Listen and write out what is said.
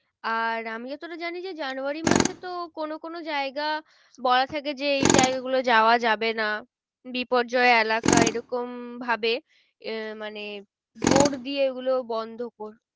আর আমি যতটা জানি যে জানুয়ারি মাসে তো কোনো কোনো জায়গা বলা থাকে যে এই জায়গা গুলো যাওয়া যাবে না। বিপর্যয় এলাকা এরকম ভাবে মানে বোর্ড দিয়ে এগুলো বন্ধ